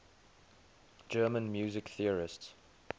german music theorists